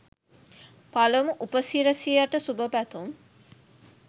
පළමු උපසිරසියට සුභපැතුම්.